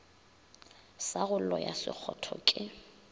sa go loya sekgotho ke